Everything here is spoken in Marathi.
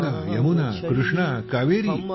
गंगा यमुना कृष्णा कावेरी